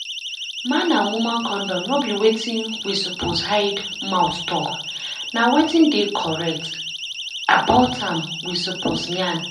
man and woman condom no be wetin we suppose hide mouth talk and na wetin dey correct about am we suppose yarn